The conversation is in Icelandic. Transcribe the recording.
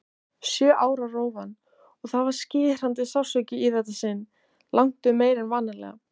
Sjö ára rófan- og það var skerandi sársauki í þetta sinn, langtum meiri en vanalega.